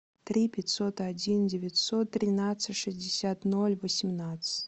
три пятьсот один девятьсот тринадцать шестьдесят ноль восемнадцать